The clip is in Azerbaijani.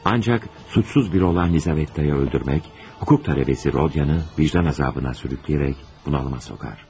Ancaq günahsız bir olan Lizavetta'yı öldürmək, hüquq tələbəsi Rodya'nı vicdan əzabına sürükləyərək bunalıma soxar.